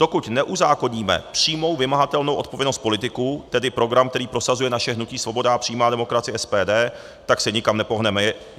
Dokud neuzákoníme přímou vymahatelnou odpovědnost politiků, tedy program, který prosazuje naše hnutí Svoboda a přímá demokracie, SPD, tak se nikam nepohneme.